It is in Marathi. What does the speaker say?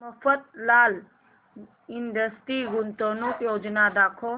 मफतलाल इंडस्ट्रीज गुंतवणूक योजना दाखव